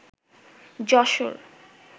Jessore